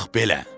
Bax belə.